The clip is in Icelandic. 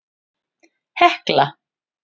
Hekla